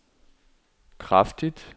kraftigt